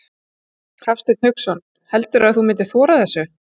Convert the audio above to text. Hafsteinn Hauksson: Heldurðu að þú myndir þora þessu?